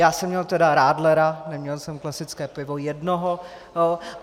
Já jsem měl tedy radlera, neměl jsem klasické pivo, jednoho.